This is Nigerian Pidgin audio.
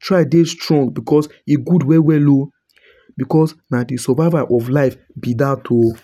Try dey strong because e good well well oh because na de survival of life be that oh.